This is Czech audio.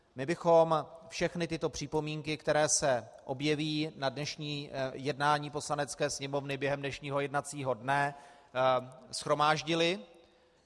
My bychom všechny tyto připomínky, které se objeví na dnešním jednání Poslanecké sněmovny během dnešního jednacího dne, shromáždili.